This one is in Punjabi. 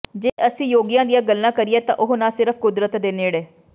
ਜੇ ਅਸੀਂ ਯੋਗੀਆਂ ਦੀਆਂ ਗੱਲ ਕਰੀਏ ਤਾਂ ਉਹ ਨਾ ਸਿਰਫ ਕੁਦਰਤ ਦੇ ਨੇੜੇ